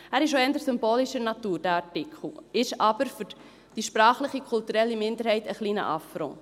Der Artikel ist auch eher symbolischer Natur, ist aber für die sprachliche und kulturelle Minderheit ein wenig ein Affront.